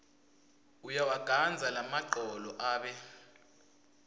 uyawagandza lamagcolo abe